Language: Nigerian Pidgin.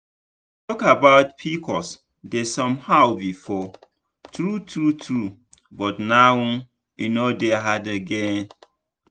to talk about pcos dey somehow before true true true but now e no dey hard again.